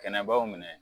Kɛnɛbaw minɛ